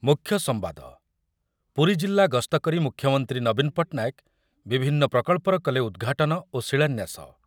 ମୁଖ୍ୟ ସମ୍ବାଦ, ପୁରୀଜିଲ୍ଲା ଗସ୍ତ କରି ମୁଖ୍ୟମନ୍ତ୍ରୀ ନବୀନ ପଟ୍ଟନାୟକ ବିଭିନ୍ନ ପ୍ରକଳ୍ପର କଲେ ଉଦ୍ଘାଟନ ଓ ଶିଳାନ୍ୟାସ